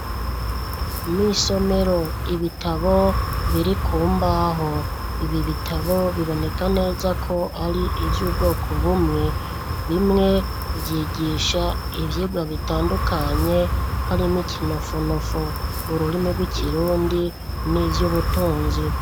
Mw'isomero ibitabo biri ku mbaho, ibi bitabo biboneka neza ko ari ivy'ubwoko bumwe, bimwe vyigisha ivyigwa bitandukanye harimwo ikinofunofu, ururimi rw'ikirundi n'ivyubutunzi.